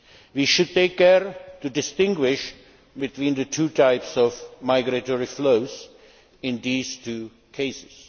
We should take care to distinguish between the two types of migratory flows in these two cases.